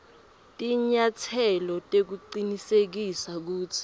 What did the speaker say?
tinyatselo tekucinisekisa kutsi